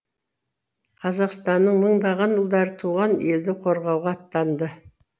қазақстанның мыңдаған ұлдары туған елді қорғауға аттанды